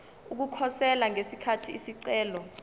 ukukhosela ngesikhathi isicelo